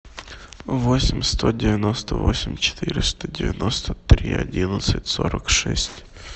восемь сто девяносто восемь четыреста девяносто три одиннадцать сорок шесть